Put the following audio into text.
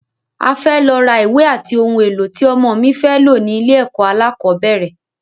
A fẹ lọ rà ìwé ati oun èlò ti ọmọ mi fé lò ní ilẹ̀ ẹkọ̀ alákọ̀bẹ́rẹ̀.